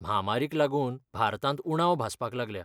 म्हामारीक लागून भारतांत उणाव भासपाक लागल्या.